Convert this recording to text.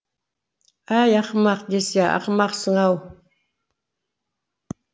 әй ақымақ десе ақымақсың ау